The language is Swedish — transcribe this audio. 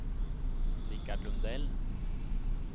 Rikard Lundell